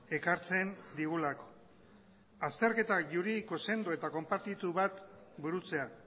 ekartzen digulako azterketa juridiko sendo eta konpartitu bat burutzea